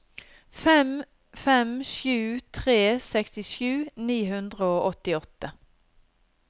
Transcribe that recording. fem fem sju tre sekstisju ni hundre og åttiåtte